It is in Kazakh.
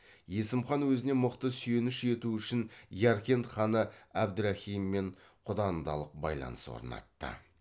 есім хан өзіне мықты сүйеніш ету үшін яркент ханы әбдірахиммен құдандалық байланыс орнатты